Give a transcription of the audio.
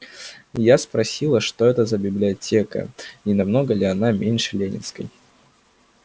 я спросила что это за библиотека и намного ли она меньше ленинской